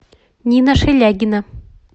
нина шелягина